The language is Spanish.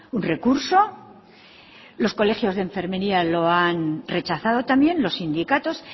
un recurso los colegios de enfermería lo han rechazado también los sindicatos